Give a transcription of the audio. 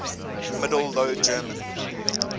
middle low german